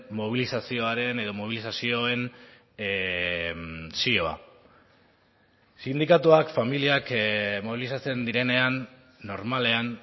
mobilizazioaren edo mobilizazioen zioa sindikatuak familiak mobilizatzen direnean normalean